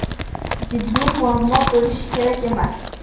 Jiddiy muammo bo‘lishi kerak emas.